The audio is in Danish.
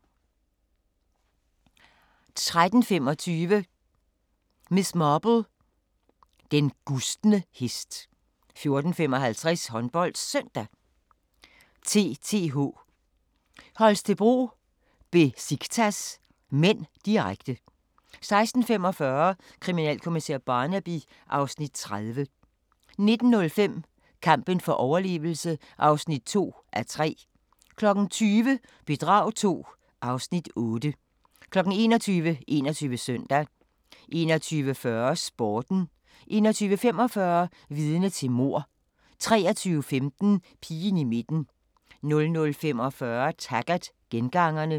13:25: Miss Marple: Den gustne hest 14:55: HåndboldSøndag: TTH Holstebro-Besiktas (m), direkte 16:45: Kriminalkommissær Barnaby (Afs. 30) 19:05: Kampen for overlevelse (2:3) 20:00: Bedrag II (Afs. 8) 21:00: 21 Søndag 21:40: Sporten 21:45: Vidne til mord 23:15: Pigen i midten 00:45: Taggart: Gengangerne